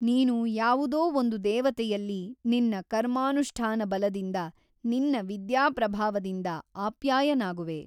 ನೀನು ಯಾವುದೋ ಒಂದು ದೇವತೆಯಲ್ಲಿ ನಿನ್ನ ಕರ್ಮಾನುಷ್ಠಾನಬಲದಿಂದ ನಿನ್ನ ವಿದ್ಯಾಪ್ರಭಾವದಿಂದ ಅಪ್ಯಾಯನಾಗುವೆ.